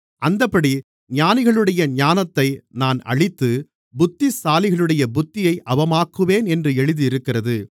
அந்தப்படி ஞானிகளுடைய ஞானத்தை நான் அழித்து புத்திசாலிகளுடைய புத்தியை அவமாக்குவேன் என்று எழுதியிருக்கிறது